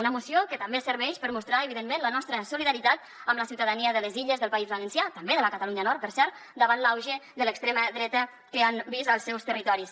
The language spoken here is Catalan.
una moció que també serveix per mostrar evidentment la nostra solidaritat amb la ciutadania de les illes del país valencià també de la catalunya nord per cert davant l’auge de l’extrema dreta que han vist als seus territoris